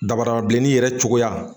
Dabarabilenni yɛrɛ cogoya